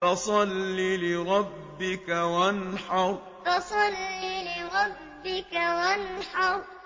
فَصَلِّ لِرَبِّكَ وَانْحَرْ فَصَلِّ لِرَبِّكَ وَانْحَرْ